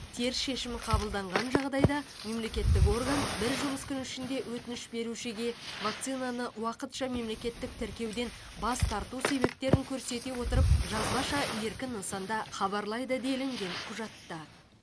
теріс шешім қабылданған жағдайда мемлекеттік орган бір жұмыс күні ішінде өтініш берушіге вакцинаны уақытша мемлекеттік тіркеуден бас тарту себептерін көрсете отырып жазбаша еркін нысанда хабарлайды делінген құжатта